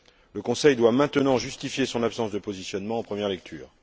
Le Conseil doit maintenant justifier son absence de positionnement en première lecture.